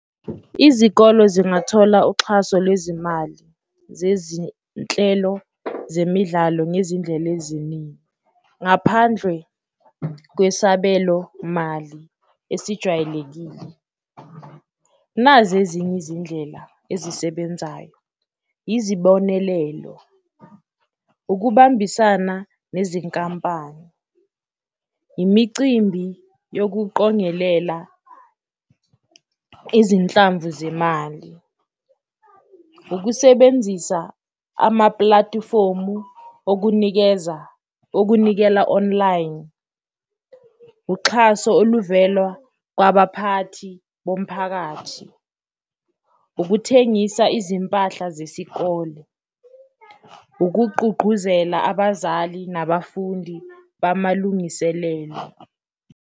Izikolo zingathola uxhaso lwezimali zezinhlelo zemidlalo ngezindlela eziningi ngaphandle kwesabelomali esijwayelekile, nazi ezinye izindlela ezisebenzayo. Izibonelelo, ukubambisana nezinkampani, imicimbi yokuqongelela izinhlamvu zemali, ukusebenzisa amaplatifomu okunikeza okunikela online, uxhaso oluvelwa kwabaphathi bomphakathi, ukuthengisa izimpahla zesikole, ukugqugquzela abazali nabafundi bamalungiselelo.